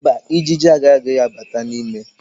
Mba, Ijiji agaghị abata n'ime